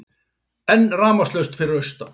Enn rafmagnslaust fyrir austan